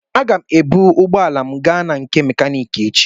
Aga m ebu ụgbọala m gaa na nke mekaniki echi.